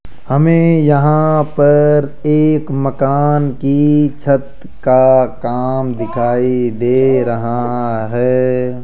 हमें यहां पर एक मकान की छत का काम दिखाई दे रहा है।